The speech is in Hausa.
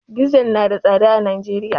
Dizal na da tsada a Najeriya.